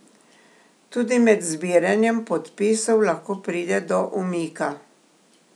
Tudi med zbiranjem podpisov lahko pride do umika.